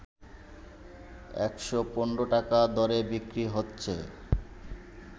১১৫ টাকা দরে বিক্রি হচ্ছে